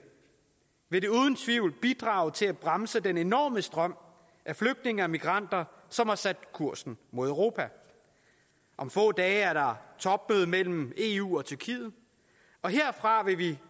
vil det uden tvivl bidrage til at bremse den enorme strøm af flygtninge og migranter som har sat kursen mod europa om få dage er der topmøde mellem eu og tyrkiet og herfra vil vi